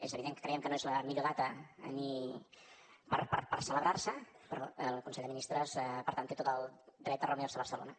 és evident que creiem que no és la millor data per celebrar se però el consell de ministres per tant té tot el dret a reunir se a barcelona